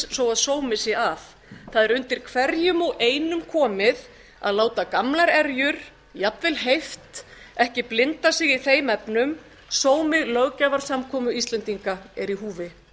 svo sómi sé að það er undir hverjum og einum komið að láta gamlar erjur jafnvel heift ekki blinda sig í þeim efnum sómi löggjafarsamkomu íslendinga er í húfi